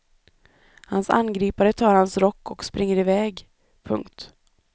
Hans angripare tar hans rock och springer iväg. punkt